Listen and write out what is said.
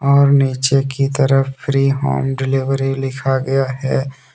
और नीचे की तरफ फ्री होम डिलीवरी लिखा गया है।